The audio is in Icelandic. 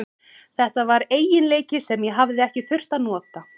Þetta var eiginleiki sem ég hafði ekki þurft að nota.